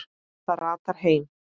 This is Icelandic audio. Það ratar heim.